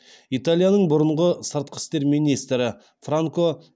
италияның бұрынғы сыртқы істер министрі франко